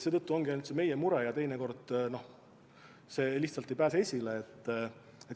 Seetõttu ongi see ainult meie mure ja see lihtsalt ei pääse esile.